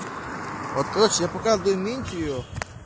вот короче я пока в документе её